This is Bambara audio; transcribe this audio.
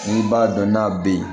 N'i b'a dɔn n'a bɛ yen